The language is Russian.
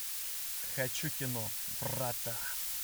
хочу кино врата